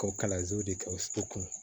K'o kalansow de kɛ o sukunɛ